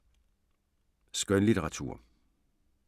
Skønlitteratur